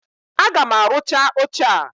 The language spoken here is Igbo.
Aga m arụcha oche a!